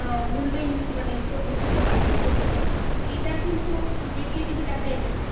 আহ মূল্যহীন মানে কট নিতে পারবো করতে পারবো তো এটা কিন্তু দেখলে দেখা যেতে পারে